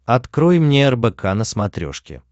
открой мне рбк на смотрешке